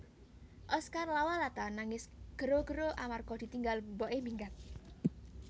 Oscar Lawalata nangis gero gero amarga ditinggal mbok e minggat